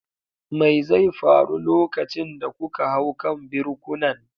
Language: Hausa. Me zai faru lokacin da kuka hau kan birkunan?